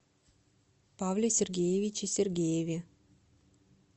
павле сергеевиче сергееве